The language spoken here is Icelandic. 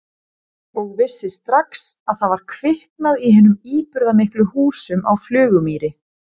Og vissi strax að það var kviknað í hinum íburðarmiklu húsum á Flugumýri.